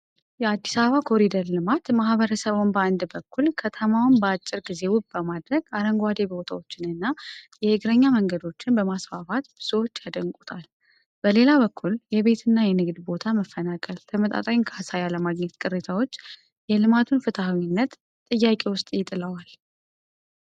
የአዲስ አበባ ኮሪደር ልማት ማህበረሰቡን በአንድ በኩል፣ ከተማዋን በአጭር ጊዜ ውብ በማድረግ፣ አረንጓዴ ቦታዎችንና የእግረኛ መንገዶችን በማስፋፋት ብዙዎች ያደንቁታል። በሌላ በኩል የቤት እና የንግድ ቦታ መፈናቀል፣ ተመጣጣኝ ካሳ ያለመገኘት ቅሬታዎች የልማቱን ፍትሐዊነት ጥያቄ ውስጥ ይጥለዋል።